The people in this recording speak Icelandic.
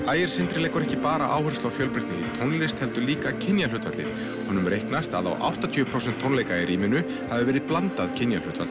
ægir Sindri leggur ekki bara áherslu á fjölbreytni í tónlist heldur líka kynjahlutfalli honum reiknast að á áttatíu prósent tónleika í rýminu hafi verið blandað kynjahlutfall